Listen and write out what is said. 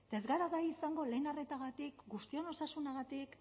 eta ez gara gai izango lehen arretagatik guztion osasunagatik